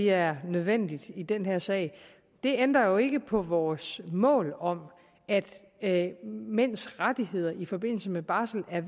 er nødvendigt i den her sag det ændrer ikke på vores mål om at mænds rettigheder i forbindelse med barsel er